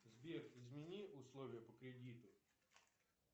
сбер измени условия по кредиту